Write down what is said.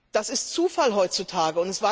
Das ist Zufall heutzutage.